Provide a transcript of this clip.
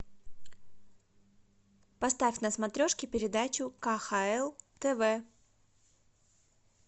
поставь на смотрешке передачу кхл тв